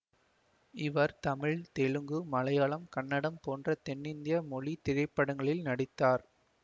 இவர் தமிழ் தெலுங்கு மலையாளம் கன்னடம் போன்ற தென்னிந்திய மொழி திரைப்படங்களில் நடித்தார்